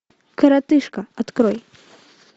коротышка открой